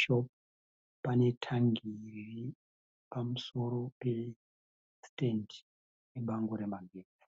shopu pane tangi riripamusoro pesitendi nebango remagetsi.